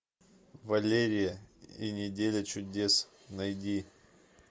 валерия и неделя чудес найди